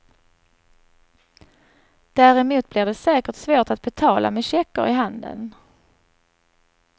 Däremot blir det säkert svårt att betala med checker i handeln.